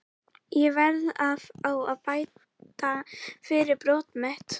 Ég verð að fá að bæta fyrir brot mitt.